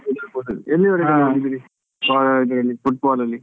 ಆಡ್ತಿರ್ಬೋದು ಎಲ್ಲಿವರೆಗೆ ಆಡಿದ್ರಿ college ಅಲ್ಲಿ Football ಅಲ್ಲಿ?